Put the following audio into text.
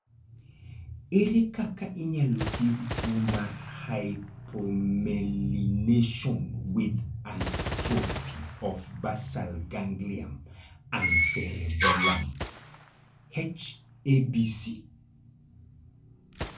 Ere kaka inyalo thiedh tuwo mar " hypomelination with atrophy of basal ganglia and cerebellum " (H ABC)?